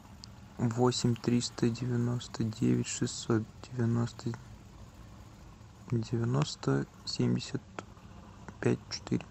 восемь триста девяносто девять шестьсот девяносто девяносто семьдесят пять четыре